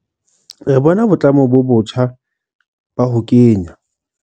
Re bona boitlamo bo botjha ba ho kenya